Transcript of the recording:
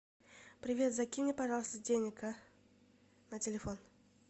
привет закинь мне пожалуйста денег а на телефон